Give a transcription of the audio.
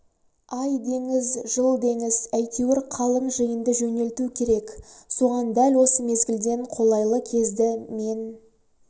ай деңіз жыл деңіз әйтеуір қалың жиынды жөнелту керек соған дәл осы мезгілден қолайлы кезді мен